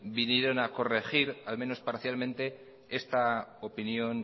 vinieron a corregir al menos parcialmente esta opinión